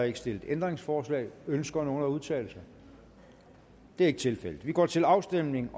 ikke stillet ændringsforslag ønsker nogen at udtale sig det er ikke tilfældet og vi går til afstemning